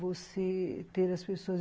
Você ter as pessoas.